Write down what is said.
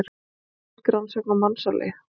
Íslensk rannsókn á mansali